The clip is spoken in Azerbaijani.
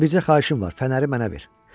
Amma bircə xahişim var: fənəri mənə ver.